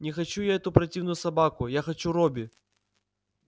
не хочу я эту противную собаку я хочу робби